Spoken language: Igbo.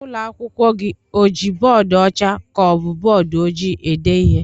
Ụlọ akwụkwọ gị o ji bọọdu ọcha ka ọ bụ bọọdu ojii ede ihe?